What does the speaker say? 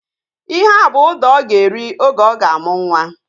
Ihea bụ ụda ọ ga-eri oge ọ ga-amụ nwa